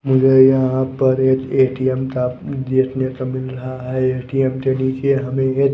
मुझे यहां पर एक ए_टी_एम का देखने तो मिल रहा है ए_टी_एम के नीचे हमें एक--